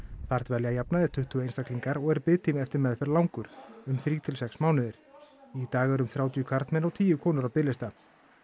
þar dvelja að jafnaði tuttugu einstaklingar og er biðtími eftir meðferð langur um þrír til sex mánuðir í dag eru um þrjátíu karlmenn og tíu konur á biðlista